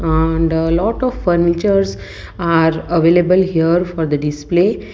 and lot of furnitures are available here for the display.